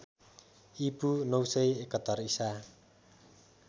ईपू ९७१ ईसा